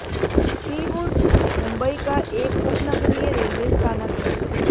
Seawoods Mumbai का एक उपनगरीय रेलवे स्थानक है